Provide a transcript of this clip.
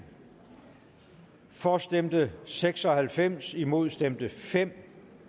for stemte seks og halvfems imod stemte fem